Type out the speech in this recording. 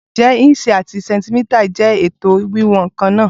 Ǹjẹ́ ìǹṣì àti sẹ̀ǹtímítà jẹ́ ètò wíwọ̀n kan náà?